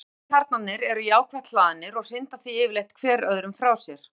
Atómkjarnarnir eru jákvætt hlaðnir og hrinda því yfirleitt hver öðrum frá sér.